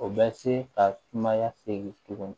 O bɛ se ka kumaya segin tugun